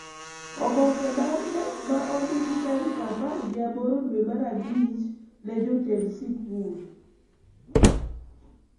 Oboke mar Knec ma ondiki tarik apar gi aboro dwe mar abich ne jotend sikul